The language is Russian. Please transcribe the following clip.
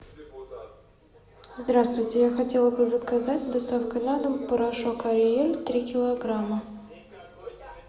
здравствуйте я хотела бы заказать с доставкой на дом порошок ариэль три килограмма